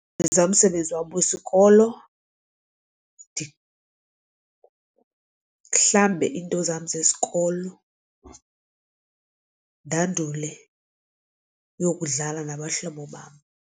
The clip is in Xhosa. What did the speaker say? Ndenza umsebenzi wam wesikolo ndihlambe iinto zam zesikolo ndandule uyokudlala nabahlobo bam.